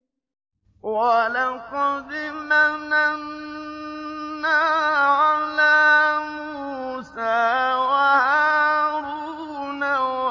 وَلَقَدْ مَنَنَّا عَلَىٰ مُوسَىٰ وَهَارُونَ